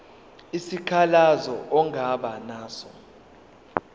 isikhalazo ongaba naso